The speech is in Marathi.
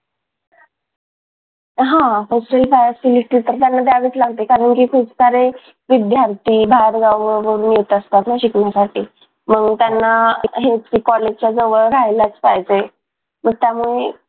हा hostel facility तर त्यांना द्यावेच लागते कारण की खूप सारे विद्यार्थी बाहेरगावावरून येत असतात ना शिकण्यासाठी मग त्यांना हेच ते कॉलेजच्या जवळ राहायलाच पाहिजे तर त्यामुळे